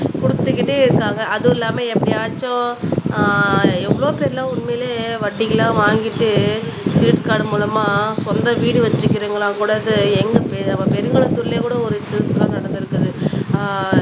குடுத்துக்கிட்டே இருக்காங்க அதுவும் இல்லாம எப்படியாச்சும் ஆஹ் எவ்ளோ பேர் எல்லாம் உண்மையிலே வட்டிகளாம் வாங்கிட்டு கிரெடிட் கார்டு மூலமா சொந்த வீடு வச்சுருக்கீங்களா கூட எங்க பெ பெருங்குளத்தூர்லயே கூட ஒரு நடந்திருக்குது ஆஹ்